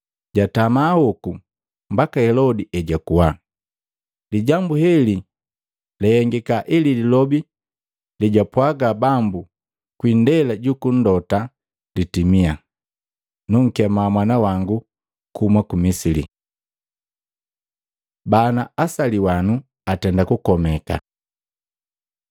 Jatama hoku mbaka Helodi ejakuwa. Lijambu heli lahengika ili lilobi lejwapwaga Bambu kwi indela juku mlota litimia, “Nunkemaa mwana wangu kuhuma ku Misili.” Bana asaliwanu atenda kukomeka